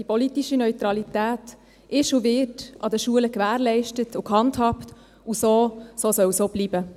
Die politische Neutralität ist und wird an den Schulen gewährleistet und gehandhabt, und so soll es auch bleiben.